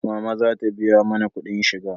Mama za ta biya mana kudin shiga